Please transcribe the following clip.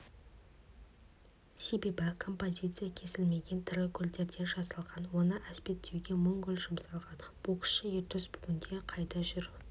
себебі композиция кесілмеген тірі гүлдерден жасалған оны әспеттеуге мың гүл жұмсалған боксшы ердос бүгінде қайда жүр